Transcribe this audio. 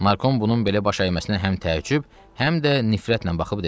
Narkom bunun belə baş əyməsinə həm təəccüb, həm də nifrətlə baxıb dedi.